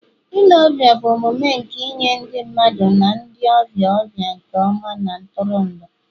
ile ọbịa bụ omume nke inye ndị mmadụ na ndị ọbịa ọbịa nke ọma na ntụrụndụ